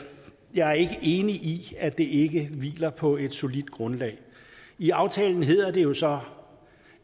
jeg er ikke enig i at det ikke hviler på et solidt grundlag i aftalen hedder det jo så